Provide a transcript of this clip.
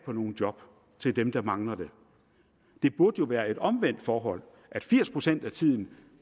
på nogle job til dem der mangler dem det burde jo være et omvendt forhold nemlig at firs procent af tiden